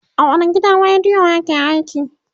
a wani gidan radiyo yake aiki?